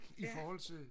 i forhold til